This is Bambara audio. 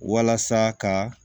Walasa ka